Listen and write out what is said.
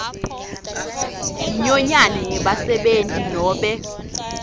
inyonyane yebasebenti nobe